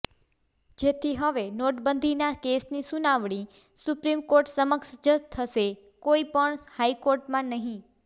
જેથી હવે નોટબંધીના કેસની સુનાવણી સુપ્રીમ કોર્ટ સમક્ષ જ થશે કોઇ પણ હાઇકોર્ટમાં નહીં